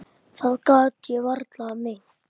Það get ég varla meint.